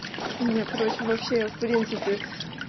у меня короче вообще в принципе